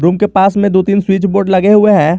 Room के पास में दो तीन स्विच बोर्ड लगे हुए हैं।